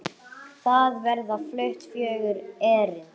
Þar verða flutt fjögur erindi.